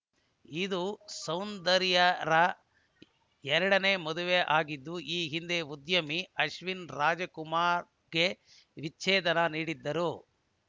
ಇದು ಸೌಂದರ್ಯಾರ ಎರಡನೇ ಮದುವೆ ಆಗಿದ್ದು ಈ ಹಿಂದೆ ಉದ್ಯಮಿ ಅಶ್ವಿನ್‌ ರಾಜಕುಮಾರ್‌ಗೆ ವಿಚ್ಛೇದನ ನೀಡಿದ್ದರು